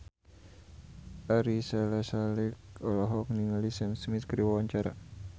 Ari Sihasale olohok ningali Sam Smith keur diwawancara